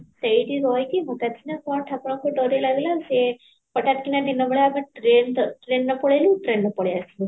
ସେଇଠି ରହିଇକ ଗୋଟେ ଦିନ କଣ ଠାକୁରଙ୍କ ଡୋର ଲାଗିଲା ସେ ହଟାତ କିନା ଦିନ ବେଳ trainଏର ପଳେଇଲୁ trainରେ ପାଳିଆସିଲୁ